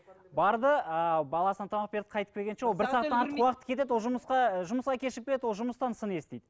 барды ыыы баласына тамақ беріп қайтып келгенше ол бір сағаттан артық уақыт кетеді ол жұмысқа жұмысқа кешігіп келеді ол жұмыстан сын естиді